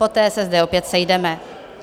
Poté se zde opět sejdeme.